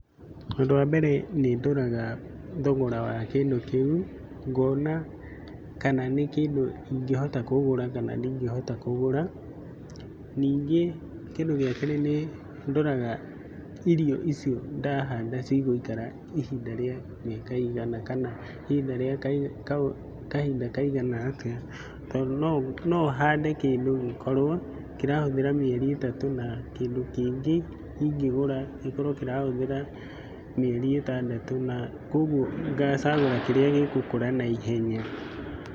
Ũndũ wa mbere nĩ ndoraga thogora wa kĩndũ kĩu, ngona kana nĩ kĩndu ingĩhota kũgũra kana ndĩgĩhota kũgũra. Ningĩ kĩndu gĩa kerĩ nĩ ndoraga irio icio ndahanda cigũikara ihinda rĩa miaka igana kana ihinda rĩa kahinda kaigana atĩa tondũ nũo no hande kĩndũ gikorwo kĩrahũthĩra mĩeri itatũ na kĩndũ kĩngĩ ingĩgũra gĩkorwo kĩrahũthĩra mĩeri itandatũ, na kogũo ngacagũra kĩrĩa gĩgũkũra na ihenya.